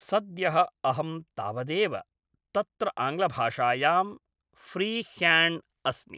सद्यः अहं तावदेव तत्र आङ्ग्लभाषायां फ़्रीह्याण्ड् अस्मि